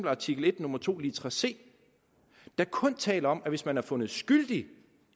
artikel en nummer to litra c der kun taler om at hvis man er fundet skyldig